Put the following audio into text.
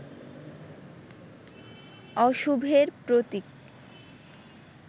অশুভের প্রতীক